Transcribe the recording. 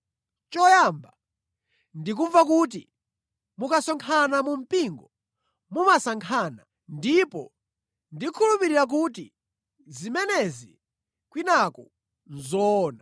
Choyamba, ndikumva kuti mukasonkhana mu mpingo mumasankhana ndipo ndikukhulupirira kuti zimenezi kwinaku nʼzoona.